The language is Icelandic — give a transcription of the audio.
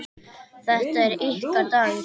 Þetta er ykkar dagur.